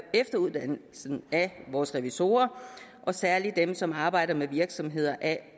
efteruddannelsen af vores revisorer og særlig dem som arbejder med virksomheder af